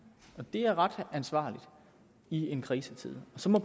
og det er ret ansvarligt i en krisetid så må